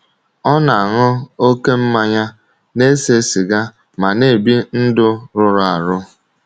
Ọ na - aṅụ oké mmanya, na - ese siga ma na - ebi ndụ rụrụ arụ.